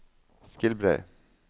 Skilbrei